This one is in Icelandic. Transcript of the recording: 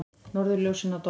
Norðurljósin að dofna